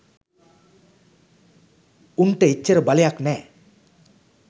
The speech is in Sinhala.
උන්ට එච්චර බලයක් නෑ.